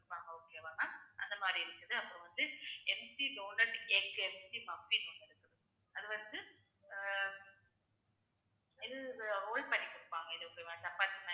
okay வா ma'am அந்த மாதிரி இருக்குது அப்புறம் வந்து yesbi donut egg அப்படின்னு குடுத்துருப்பாங்க அது வந்து அஹ் இது roll பண்ணி குடுப்பாங்க இது okay வா சப்பாத்தி மாதிரி